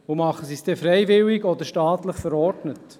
Tun sie es denn freiwillig oder staatlich verordnet?